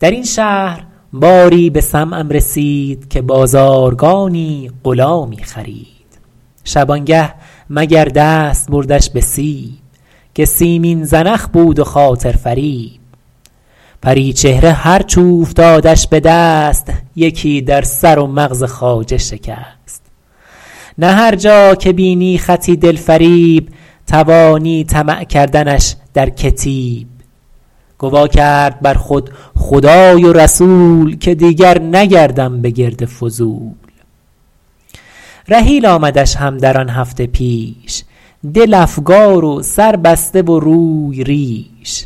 در این شهر باری به سمعم رسید که بازارگانی غلامی خرید شبانگه مگر دست بردش به سیب که سیمین زنخ بود و خاطر فریب پریچهره هرچ اوفتادش به دست یکی در سر و مغز خواجه شکست نه هر جا که بینی خطی دل فریب توانی طمع کردنش در کتیب گوا کرد بر خود خدای و رسول که دیگر نگردم به گرد فضول رحیل آمدش هم در آن هفته پیش دل افگار و سر بسته و روی ریش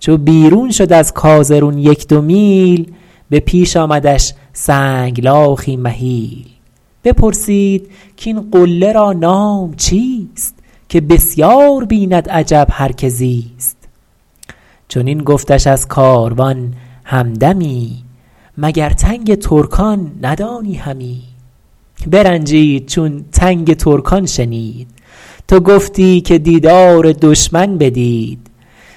چو بیرون شد از کازرون یک دو میل به پیش آمدش سنگلاخی مهیل بپرسید کاین قله را نام چیست که بسیار بیند عجب هر که زیست چنین گفتش از کاروان همدمی مگر تنگ ترکان ندانی همی برنجید چون تنگ ترکان شنید تو گفتی که دیدار دشمن بدید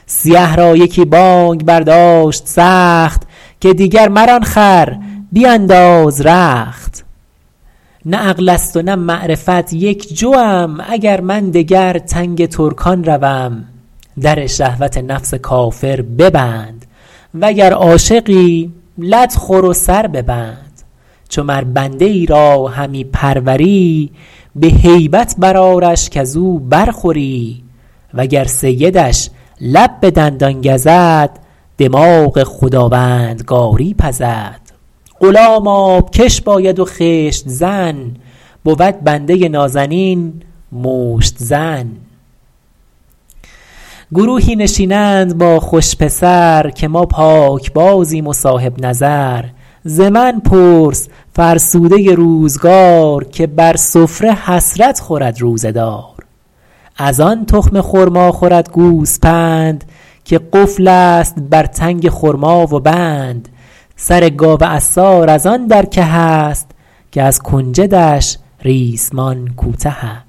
سیه را یکی بانگ برداشت سخت که دیگر مران خر بینداز رخت نه عقل است و نه معرفت یک جوم اگر من دگر تنگ ترکان روم در شهوت نفس کافر ببند وگر عاشقی لت خور و سر ببند چو مر بنده ای را همی پروری به هیبت بر آرش کز او برخوری وگر سیدش لب به دندان گزد دماغ خداوندگاری پزد غلام آبکش باید و خشت زن بود بنده نازنین مشت زن گروهی نشینند با خوش پسر که ما پاکبازیم و صاحب نظر ز من پرس فرسوده روزگار که بر سفره حسرت خورد روزه دار از آن تخم خرما خورد گوسپند که قفل است بر تنگ خرما و بند سر گاو عصار از آن در که است که از کنجدش ریسمان کوته است